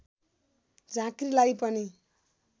झाँक्रीलाई पनि